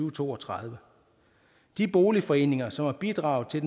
og to og tredive de boligforeninger som har bidraget til